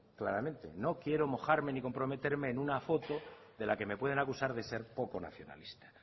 claramente no quiero mojarme ni comprometerme en una foto de la que me pueden acusar de ser poco nacionalista